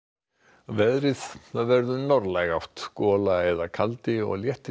að veðri það verður norðlæg átt gola eða kaldi og léttir